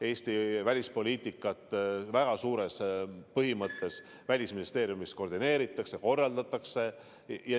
Eesti välispoliitikat põhimõtteliselt koordineeritakse ja korraldatakse Välisministeeriumis.